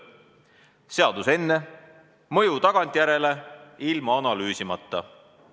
Seadus enne, mõju tagantjärele, ilma analüüsimata.